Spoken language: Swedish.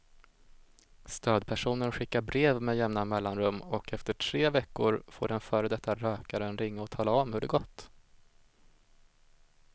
Stödpersonen skickar brev med jämna mellanrum och efter tre veckor får den före detta rökaren ringa och tala om hur det gått.